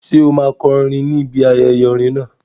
Ṣé o máa kọrin ní ibi ayẹyẹ orin náà?